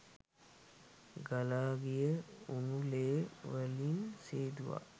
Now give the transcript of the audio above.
ගලා ගිය උණු ලේ වලින් සේදුවා